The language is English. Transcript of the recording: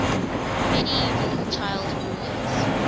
medieval child rulers